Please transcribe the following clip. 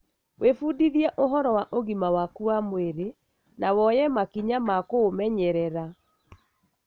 wĩbundithie ũhoro wa ũgima waku wa mwĩrĩ na woye makinya ma kũumenyerera.